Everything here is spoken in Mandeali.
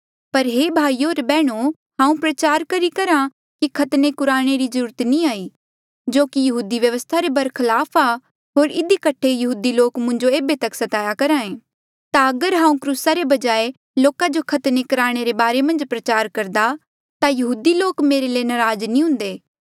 पर हे भाईयो होर बैहणो हांऊँ प्रचार करी करहा कि खतने कुराणे री जरूरत नी जो की यहूदी व्यवस्था रे बरखलाफ आ होर इधी कठे यहूदी लोक मुंजो ऐबे तक स्ताया करहे ता अगर हांऊँ क्रूसा रे बजाय लोका जो खतने कुराणे रे बारे मन्झ प्रचार करदा ता यहूदी लोक मेरे ले नराज नी हुंदे